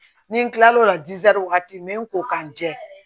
Ni n kila l'o la wagati n be n ko ka n jɛ